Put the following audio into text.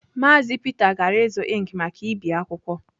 Maazi Peter gara ịzụ ink maka ibi akwụkwọ.